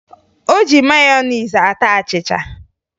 O ji meyonezi ata achịcha